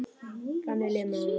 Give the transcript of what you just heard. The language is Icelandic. Þannig líður mér núna.